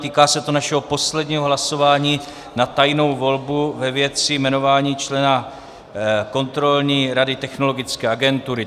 Týká se to našeho posledního hlasování na tajnou volbu ve věci jmenování člena Kontrolní rady Technologické agentury.